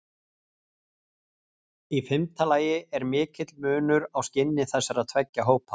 Í fimmta lagi er mikill munur á skinni þessara tveggja hópa.